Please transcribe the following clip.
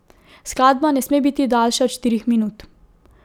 Skladba ne sme biti daljša od štirih minut.